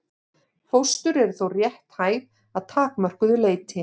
Fóstur eru þó rétthæf að takmörkuðu leyti.